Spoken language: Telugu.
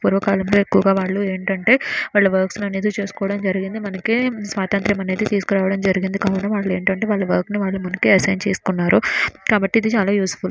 పూర్వకాలంలో ఎక్కువగా వాళ్ళు ఏంటంటే వాళ్లు వర్క్స్ అనేది చేసుకోవడం జరిగింది మనకి స్వాతంత్రం అనేది తీసుకురావడం జరిగింది కావున వాళ్ళు ఏంటంటే వాళ్ల వర్క్ న ముందుకు అసైన్ చేసుకున్నారు కాబట్టి ఇది చాలా యూజ్ఫుల్ --